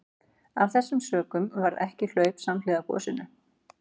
Af þessum sökum varð ekki hlaup samhliða gosinu.